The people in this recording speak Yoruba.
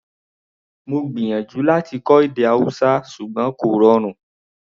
Mo gbìyànjú láti kọ́ èdè Hausa ṣùgbọ́n kò rọrùn